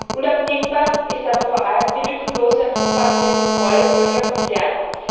Unabdingbar ist aber vor allem die lückenlose und umfassende Kontrolle solcher Konzerne.